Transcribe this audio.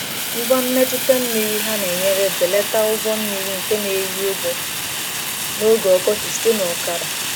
Ngwa mmetụta mmiri ha na-enyere belata ụgwọ mmiri nke na-eri ugbo n’oge ọkọchị site na ọkara.